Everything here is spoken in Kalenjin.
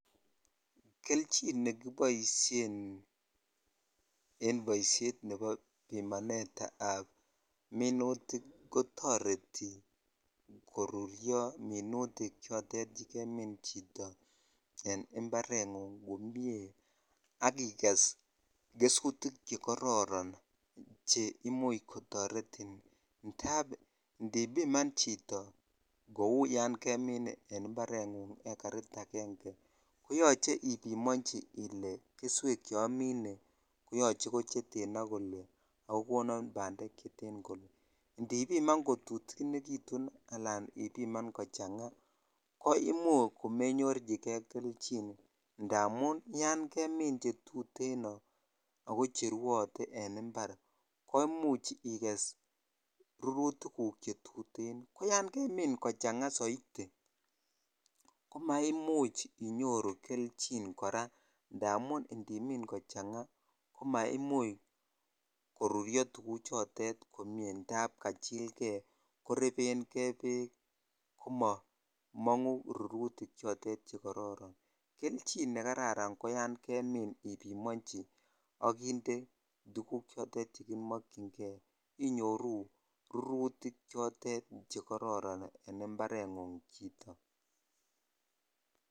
Kelchin nekiboisien en boisiet nebo bikanetab minutik kotoreti koruyo minutik choton chekemin chito en imparengung komie akiges gesutik chekororon che imuch kotoretin indap indipiman chito kou yan kemin en imparengung ekarit aenge koyoche ipimonji ile keswek chomine koyoche koten ak kole ako konon bandek cheten akole indipiman kotutukenitun ala ipiman kochanga ko imuch komenyorchkei kelchin indamun yan kemin cheyuten ako cheraatee en impar ko imuch igese rurutigug chetuten ko yan kemin kochanga soiti ko maimuch inyiru jelchin koraa indamun indimin kochang koruryo tukuchoton komie indap kachilkei koreben kei beek komomongu rututichotet kokororon kelchin nekararsn ko yan kemin ipimochi ak indee tukuk chotet chekimokyin kei inyoru rurutik chotet chekororon en imparengung chito.